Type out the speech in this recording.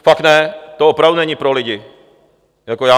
Fakt ne, to opravdu není pro lidi.